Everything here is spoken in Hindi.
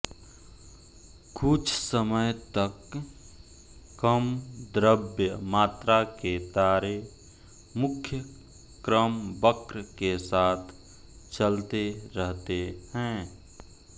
कुछ समय तक कम द्रव्य मात्रा के तारे मुख्य क्रमवक्र के साथ चलते रहते हैं